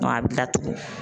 a bɛ gilan tugun.